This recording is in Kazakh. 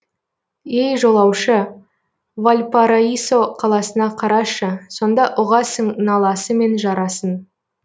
ей жолаушы вальпараисо қаласына қарашы сонда ұғасың наласы мен жарасын